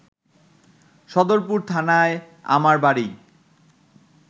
সদরপুর থানায় আমার বাড়ি